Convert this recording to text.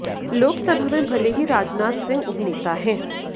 लोकसभा में भले ही राजनाथ सिंह उपनेता हैं